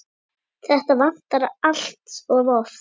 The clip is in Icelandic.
Þetta vantar allt of oft.